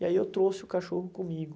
E aí eu trouxe o cachorro comigo.